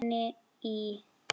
Heima hjá henni í